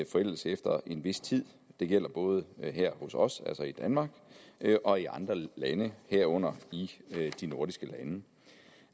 forældes efter en vis tid det gælder både her hos os altså i danmark og i andre lande herunder i de nordiske lande